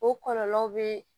O kɔlɔlɔw bɛ